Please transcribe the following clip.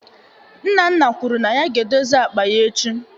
Nnanna kwuru na ya ga-edozi akpa ya echi